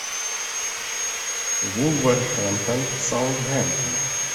вулверхэмптон саутгемптон